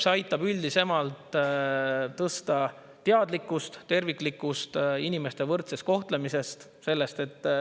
See aitab üldisemalt tõsta teadlikkust terviklikust inimeste võrdsest kohtlemisest.